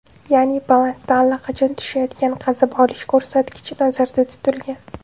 Ya’ni, balansda allaqachon tushayotgan qazib olish ko‘rsatkichi nazarda tutilgan.